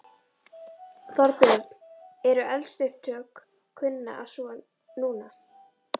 Þorbjörn: Eru eldsupptök kunn að svo. núna?